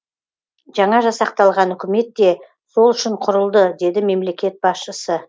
жаңа жасақталған үкімет те сол үшін құрылды деді мемлекет басшысы